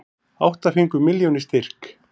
Átta fengu milljón í styrk